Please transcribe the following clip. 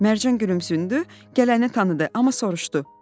Mərcan gülümsündü, gələni tanıdı, amma soruşdu.